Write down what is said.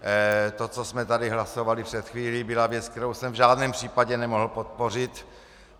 To, co jsme tady hlasovali před chvílí, byla věc, kterou jsem v žádném případě nemohl podpořit.